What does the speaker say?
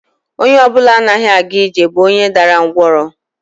Onye ọ bụla anaghị aga ije bụ onye dara ngwọrọ